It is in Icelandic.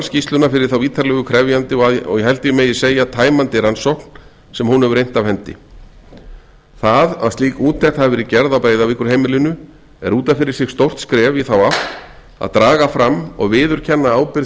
skýrsluna fyrir þá ítarlegu krefjandi og held ég megi segja tæmandi rannsókn sem hún hefur innt af hendi það að slík úttekt hafi verið gerð á breiðavíkurheimilinu er út af fyrir sig stórt skref í þá átt að draga fram og viðurkenna ábyrgð